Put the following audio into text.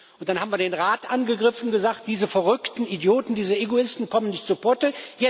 Und dann haben wir den Rat angegriffen und gesagt Diese verrückten Idioten, diese Egoisten kommen nicht zu Potte.